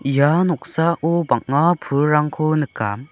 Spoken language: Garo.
ia noksao bang·a pulrangko nika.